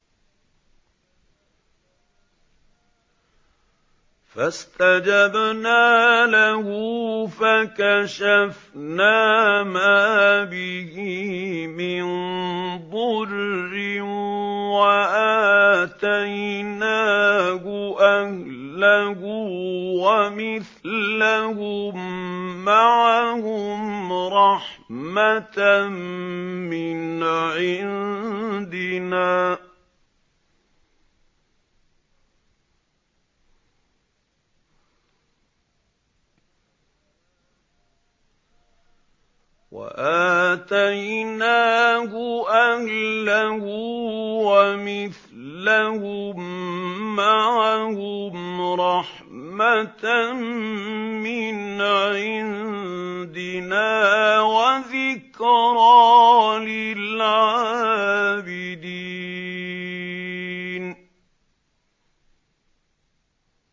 فَاسْتَجَبْنَا لَهُ فَكَشَفْنَا مَا بِهِ مِن ضُرٍّ ۖ وَآتَيْنَاهُ أَهْلَهُ وَمِثْلَهُم مَّعَهُمْ رَحْمَةً مِّنْ عِندِنَا وَذِكْرَىٰ لِلْعَابِدِينَ